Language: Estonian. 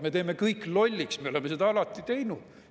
Me teeme kõik lolliks, me oleme seda alati teinud.